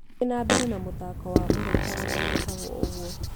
thiĩ na mbere na mũthaako wa mũraika ũrĩa wĩtagwo ũguo